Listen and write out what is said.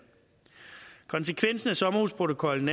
konsekvensen af sommerhusprotokollen